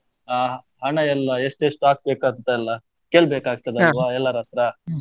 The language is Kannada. ಆ ಹಣಯೆಲ್ಲಾ ಎಷ್ಟ್, ಎಷ್ಟ್ ಹಾಕ್ಬೇಕ್ ಅಂತ ಎಲ್ಲಾ, ಕೇಳ್ಬೇಕ್ ಎಲ್ಲರ್ ಹತ್ರ?